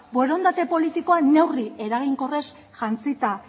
borondate politikoa neurri eraginkorraz jantzita